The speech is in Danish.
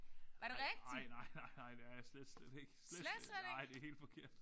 Ej ej nej nej nej nej det er jeg slet slet ikke. Slet slet ikke. Nej det helt forkert